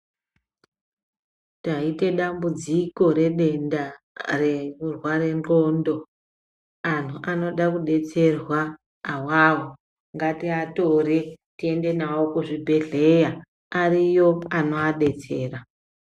Taita dambudziko redenda rekurwara ngonxo antu anoda kudetserwa awawo ngativatore tiende navo kuzvibhedhlera ariyo anovadetsera.